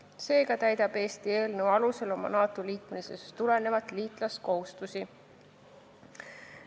Seega täidab Eesti eelnõu alusel oma NATO liikmesusest tulenevaid liitlaskohustusi.